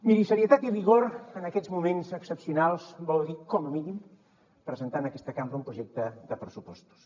miri serietat i rigor en aquests moments excepcionals vol dir com a mínim presentar en aquesta cambra un projecte de pressupostos